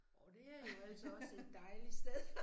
Orh det er jo altså også et dejligt sted